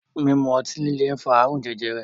Mímu otí líle ń fa ààrùn jẹjẹrẹ.